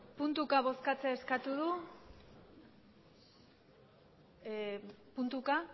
puntuka bozkatzea eskatu du puntuka